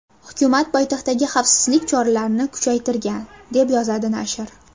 Hukumat poytaxtdagi xavfsizlik choralarini kuchaytirgan, deb yozadi nashr.